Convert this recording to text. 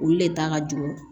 Olu le ta ka jɔ